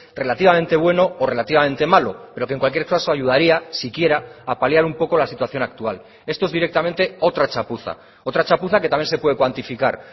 relativamente bueno o relativamente malo pero que en cualquier caso ayudaría siquiera a paliar un poco la situación actual esto es directamente otra chapuza otra chapuza que también se puede cuantificar